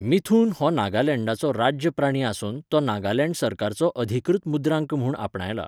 मिथुन हो नागालँडाचो राज्य प्राणी आसून तो नागालँड सरकाराचो अधिकृत मुद्रांक म्हूण आपणायला.